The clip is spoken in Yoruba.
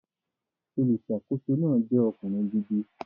Olùsàkóso náà jẹ́ ọkùnrin gidi